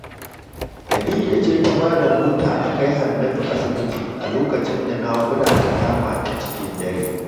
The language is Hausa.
Khadija ce ta ba da mota aka kai Hannatu asibiti a lokacin da naƙuda ta kamata cikin dare